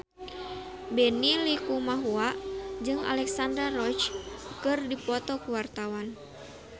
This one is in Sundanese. Benny Likumahua jeung Alexandra Roach keur dipoto ku wartawan